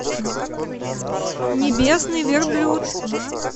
небесный верблюд